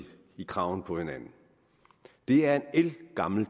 i kraven på hinanden det er en ældgammel